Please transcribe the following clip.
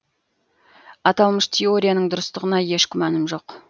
аталмыш теорияның дұрыстығына еш күмәнім жоқ